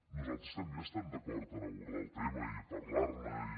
nosaltres també estem d’acord a abordar el tema i a parlar ne i